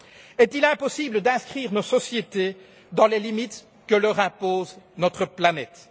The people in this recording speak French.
Est il impossible d'inscrire nos sociétés dans les limites que leur impose notre planète?